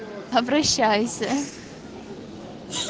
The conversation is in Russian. обращайся